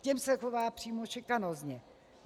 K těm se chová přímo šikanózně.